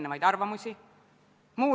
Mingil määral on see uus olukord.